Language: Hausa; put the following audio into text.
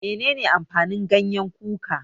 Menene amfanin gyanyen kuka?